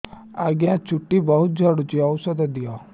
ଆଜ୍ଞା ଚୁଟି ବହୁତ୍ ଝଡୁଚି ଔଷଧ ଦିଅ